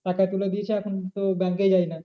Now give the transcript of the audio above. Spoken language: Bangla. টাকা তুলে দিয়েছে এখন তো bank এ যায় না।